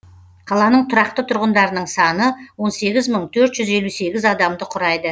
қаланың тұрақты тұрғындарының саны он сегіз мың төрт жүз елу сегіз адамды құрайды